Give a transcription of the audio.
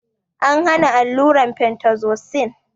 An hana allurar fentazosin